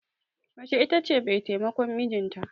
Mace ita ce mai taimakon mijinta.